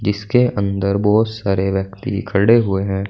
जिसके अंदर बहोत सारे व्यक्ति खड़े हुए हैं।